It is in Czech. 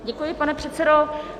Děkuji, pane předsedo.